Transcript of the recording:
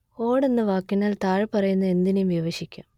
ഓട് എന്ന വാക്കിനാൽ താഴെപ്പറയുന്ന എന്തിനേയും വിവഷിക്കാം